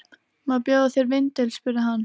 Má bjóða þér vindil? spurði hann.